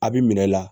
A bi minɛ la